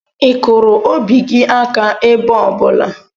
Ị kụrụ obi gị aka ebe ọ bụla?